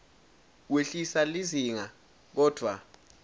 wehlisa lizinga kodvwa